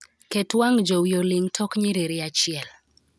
Ket wang' jowi oling' tok nyiriri achiel